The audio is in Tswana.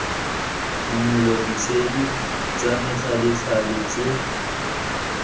phimola ditshedi tsa methalethale tse